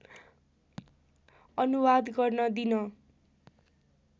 अनुवाद गर्न दिन